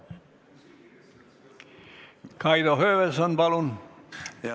Kaido Höövelson, palun!